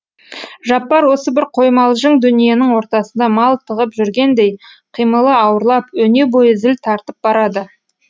жаппар осы бір қоймалжың дүниенің ортасында малтығып жүргендей қимылы ауырлап өне бойы зіл тартып барады